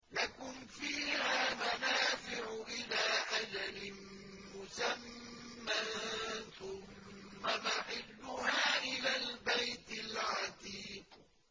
لَكُمْ فِيهَا مَنَافِعُ إِلَىٰ أَجَلٍ مُّسَمًّى ثُمَّ مَحِلُّهَا إِلَى الْبَيْتِ الْعَتِيقِ